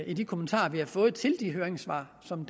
i de kommentarer vi har fået til de høringssvar som